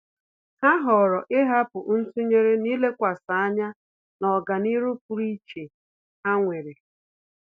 Há họ̀ọ̀rọ̀ ị́hàpụ́ ntụnyere n’ílékwàsí ányá na ọ́gànihu pụ́rụ́ iche ha nwere.